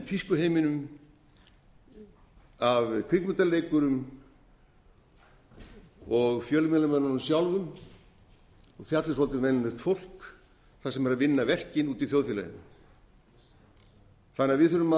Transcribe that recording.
tískuheiminum af kvikmyndaleikurum og fjölmiðlamönnunum sjálfum og fjalli svolítið um venjulegt fólk það sem er að vinna verkin úti í þjóðfélaginu þannig að við þurfum